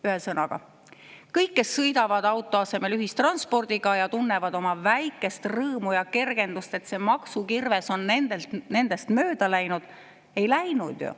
Ühesõnaga, kõik, kes sõidavad auto asemel ühistranspordiga ja tunnevad oma väikest rõõmu ja kergendust, et see maksukirves on nendest mööda läinud – ei läinud ju.